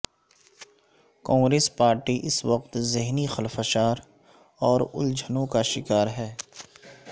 Congress party اس وقت ذہنی خلفشار اور الجھنوں کا شکار ہے